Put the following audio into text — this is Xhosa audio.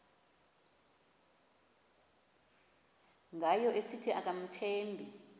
ngayo esithi akamthembi